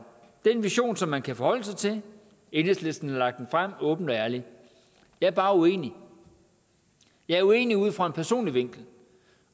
det er en vision som man kan forholde sig til enhedslisten har lagt den frem åbent og ærligt jeg er bare uenig jeg er uenig ud fra en personlig vinkel